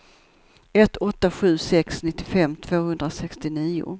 ett åtta sju sex nittiofem tvåhundrasextionio